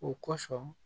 O kosɔn